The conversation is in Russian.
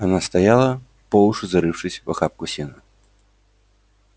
она стояла по уши зарывшись в охапку сена